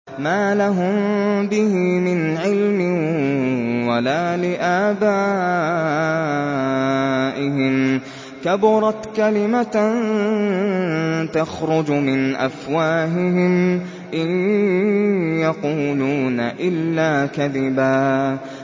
مَّا لَهُم بِهِ مِنْ عِلْمٍ وَلَا لِآبَائِهِمْ ۚ كَبُرَتْ كَلِمَةً تَخْرُجُ مِنْ أَفْوَاهِهِمْ ۚ إِن يَقُولُونَ إِلَّا كَذِبًا